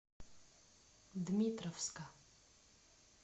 дмитровска